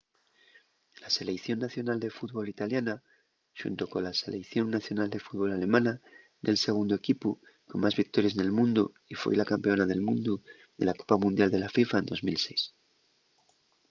la seleición nacional de fútbol italiana xunto cola seleición nacional de fútbol alemana ye’l segundu equipu con más victories nel mundu y foi la campeona del mundu de la copa mundial de la fifa en 2006